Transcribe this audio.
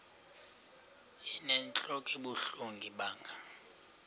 inentlok ebuhlungu ibanga